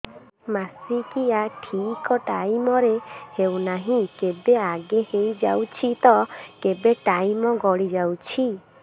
ମାସିକିଆ ଠିକ ଟାଇମ ରେ ହେଉନାହଁ କେବେ ଆଗେ ହେଇଯାଉଛି ତ କେବେ ଟାଇମ ଗଡି ଯାଉଛି